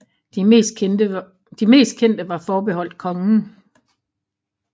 De mest kendte var forbeholdt kongen